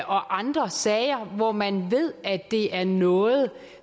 andre sager hvor man ved at det er noget